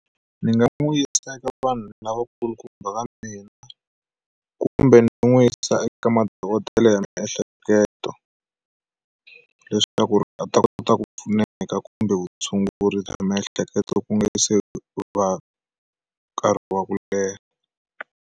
Ndzi nga n'wi yisa eka vanhu lavakulukumba va mina kumbe ni n'wi yisa eka madokodela ya miehleketo leswaku a ta kota ku pfuneka kumbe vutshunguri bya miehleketo ku nga se va nkarhi wa ku leha.